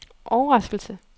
overraskelse